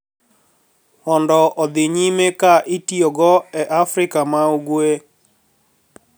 Mondo odhi nyime ka itiyogo e Afrika ma Ugwe